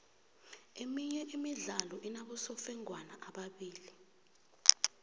iminye imidlalo inabosofengwana ababili